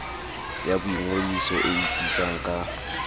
ya boingodiso e ipitsang ka